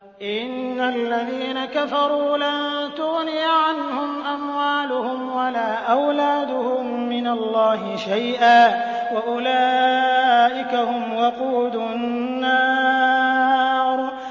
إِنَّ الَّذِينَ كَفَرُوا لَن تُغْنِيَ عَنْهُمْ أَمْوَالُهُمْ وَلَا أَوْلَادُهُم مِّنَ اللَّهِ شَيْئًا ۖ وَأُولَٰئِكَ هُمْ وَقُودُ النَّارِ